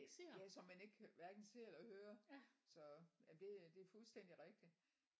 Ja som man ikke hverken ser eller hører så ja det er det er fuldstændig rigtigt